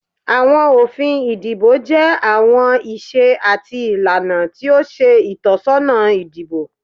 Awọn ofín idibo jẹ awọn ìsè atí ilana ti o ṣe itọsọna idibo